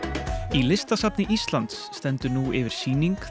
í Listasafni Íslands stendur nú yfir sýning